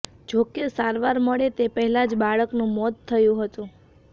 જો કે સારવાર મળે તે પહેલાં જ બાળકનુ મોત થયુ હતુ